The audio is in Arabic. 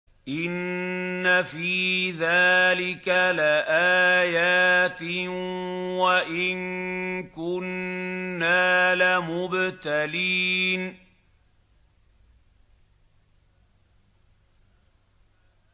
إِنَّ فِي ذَٰلِكَ لَآيَاتٍ وَإِن كُنَّا لَمُبْتَلِينَ